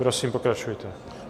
Prosím, pokračujte.